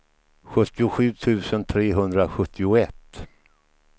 sjuttiosju tusen trehundrasjuttioett